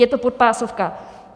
Je to podpásovka.